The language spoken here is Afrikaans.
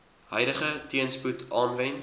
huidige teenspoed aanwend